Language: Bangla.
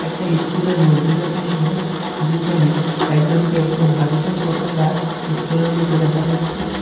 একটা ইস্কুল -এর মধ্যেকার দৃশ্য যেখানে একজনকে একটা ভারতীয় পতাকা উত্তোলন করতে দেখা যাচ্ছে।